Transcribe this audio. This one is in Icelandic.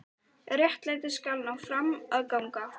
Réttlætið skal ná fram að ganga.